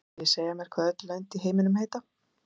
Viljið þið segja mér hvað öll lönd í heiminum heita?